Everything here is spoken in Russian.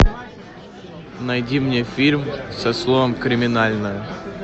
найди мне фильм со словом криминальное